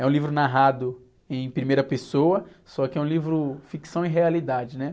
É um livro narrado em primeira pessoa, só que é um livro ficção e realidade, né?